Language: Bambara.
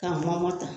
K'a mɔngɔ ta